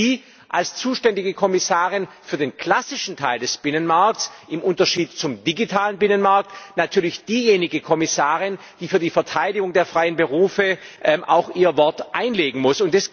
Und da sind Sie als zuständige Kommissarin für den klassischen Teil des Binnenmarkts im Unterschied zum digitalen Binnenmarkt natürlich diejenige Kommissarin, die für die Verteidigung der freien Berufe auch ihr Wort einlegen muss.